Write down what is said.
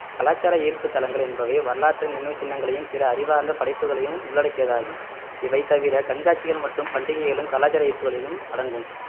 கலாச்சார ஈர்ப்பு தலங்கள் என்பவை வரலாற்று நினைவுச் சின்னங்களையும் பிற அறிவார்ந்த படைப்புகளையும் உள்ளடக்கியதாகும் இவை தவிர கண்காட்சிகள் மற்றும் பண்டிகைகளும் கலாச்சார ஈர்ப்புகளிலும் அடங்கும்